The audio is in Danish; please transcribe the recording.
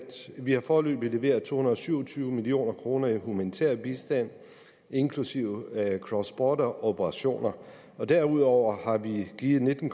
vi har foreløbig leveret to hundrede og syv og tyve million kroner i humanitær bistand inklusive cross border operationer derudover har vi givet nitten